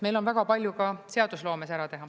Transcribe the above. Meil on väga palju ka seadusloomes ära teha.